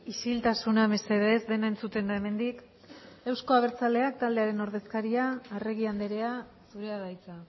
isiltasuna mesedez dena entzuten da hemendik euzko abertzaleak taldearen ordezkaria arregi andrea zurea da hitza